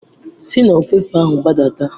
Si n'ofefe ahụ gbadata.